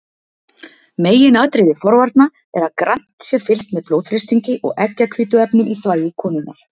Meginatriði forvarna er að grannt sé fylgst með blóðþrýstingi og eggjahvítuefnum í þvagi konunnar.